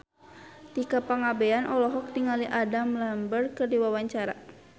Tika Pangabean olohok ningali Adam Lambert keur diwawancara